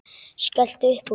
Skellti upp úr.